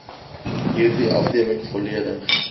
hierdie afdeling volledig